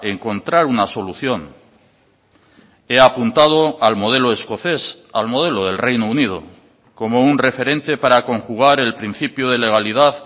encontrar una solución he apuntado al modelo escocés al modelo del reino unido como un referente para conjugar el principio de legalidad